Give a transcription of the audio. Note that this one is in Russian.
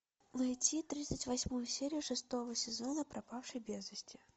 найти тридцать восьмую серию шестого сезона пропавший без вести